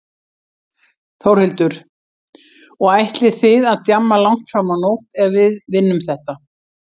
Þórhildur: Og ætlið þið að djamma langt fram á nótt ef við vinnum þetta?